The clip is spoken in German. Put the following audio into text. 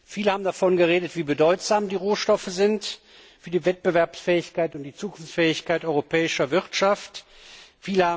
Viele haben davon geredet, wie bedeutsam die Rohstoffe für die Wettbewerbsfähigkeit und die Zukunftsfähigkeit der europäischen Wirtschaft sind.